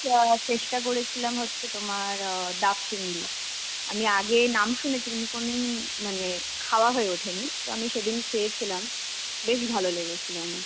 অ্যাঁ চেষ্টা করেছিলাম হচ্ছে তোমার অ্যাঁ ডাব চিংড়ি. আমি আগে নাম শুনেছি, কিন্তু কোনদিন মানে খাওয়া হয়ে ওঠেনি. তো আমি সেদিন খেয়েছিলাম. বেশ ভালো লেগেছিল আমার.